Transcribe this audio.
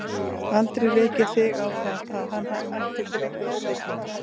Aldrei rekið þig á það, að hann ætti til einhver óheilindi?